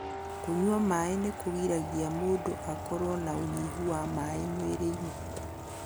kũnyua maaĩ nĩ kũgiragia mũndũ akorwo na ũnyihu wa maĩ mwĩrĩ-inĩ.